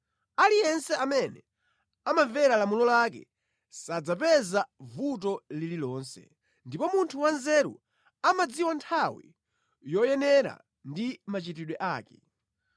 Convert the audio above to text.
Aliyense amene amamvera lamulo lake sadzapeza vuto lililonse, ndipo munthu wanzeru amadziwa nthawi yoyenera ndi machitidwe ake.